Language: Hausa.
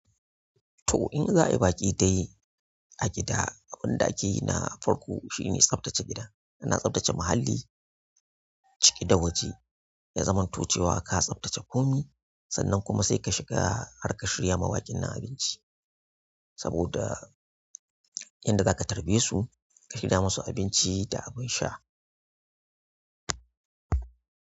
To in za'a yi baƙi dai a gida, abun da ake yi na farko shine tsaftace gida. Ina tsaftace muhalli, ciki da waje ya zamanto cewa ka tsaftace komai, sannan kuma sai ka shiga har ka shirya ma baƙin nan abinci saboda yanda za ka tarbe su, ka yi da masu abinci da abin sha.